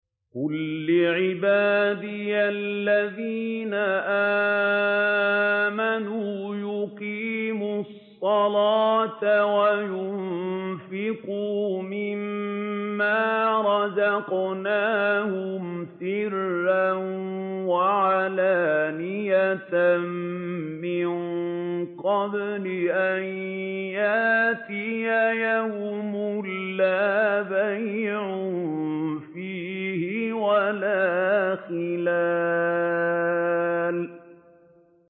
قُل لِّعِبَادِيَ الَّذِينَ آمَنُوا يُقِيمُوا الصَّلَاةَ وَيُنفِقُوا مِمَّا رَزَقْنَاهُمْ سِرًّا وَعَلَانِيَةً مِّن قَبْلِ أَن يَأْتِيَ يَوْمٌ لَّا بَيْعٌ فِيهِ وَلَا خِلَالٌ